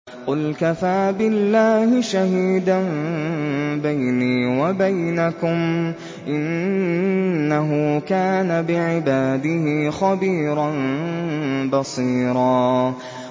قُلْ كَفَىٰ بِاللَّهِ شَهِيدًا بَيْنِي وَبَيْنَكُمْ ۚ إِنَّهُ كَانَ بِعِبَادِهِ خَبِيرًا بَصِيرًا